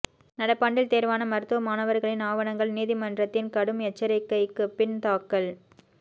நடப்பாண்டில் தேர்வான மருத்துவ மாணவர்களின் ஆவணங்கள் நீதிமன்றத்தின் கடும் எச்சரிக்கைக்குபின் தாக்கல்